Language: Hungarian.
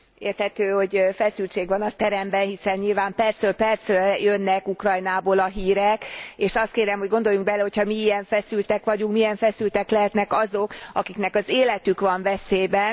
Érthető, hogy feszültség van a teremben, hiszen nyilván percről percre jönnek Ukrajnából a hírek, és azt kérem, hogy gondoljunk bele, hogyha mi ilyen feszültek vagyunk, milyen feszültek lehetnek azok, akiknek az életük van veszélyben.